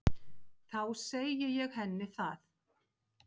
Þá segi ég henni það.